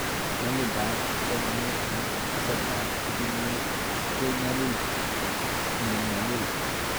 Nyalildab somanet eng' kasartab pichinwek ko nyalil eng'nyalil